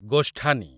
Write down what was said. ଗୋଷ୍ଠାନୀ